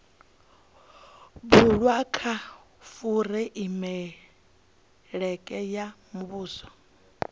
bulwaho kha fureimiweke ya muvhuso